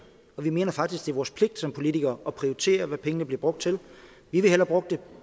vi mener faktisk det vores pligt som politikere at prioritere hvad pengene bliver brugt til vi vil hellere